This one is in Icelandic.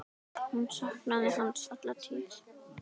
Hún saknaði hans alla tíð.